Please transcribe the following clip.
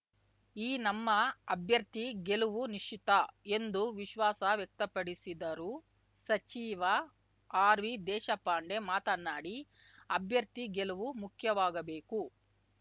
ಈ ನಮ್ಮ ಅಭ್ಯರ್ಥಿ ಗೆಲುವು ನಿಶ್ಚಿತ ಎಂದು ವಿಶ್ವಾಸ ವ್ಯಕ್ತಪಡಿಸಿದರು ಸಚಿವ ಆರ್‌ವಿ ದೇಶಪಾಂಡೆ ಮಾತನಾಡಿ ಅಭ್ಯರ್ಥಿ ಗೆಲುವು ಮುಖ್ಯವಾಗಬೇಕು